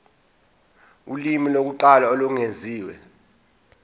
ulimi lokuqala olwengeziwe